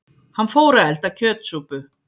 Hann fór að elda kjötsúpu.